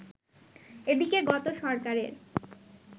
এদিকে গত সরকারের